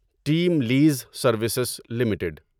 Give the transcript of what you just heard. team lease services limited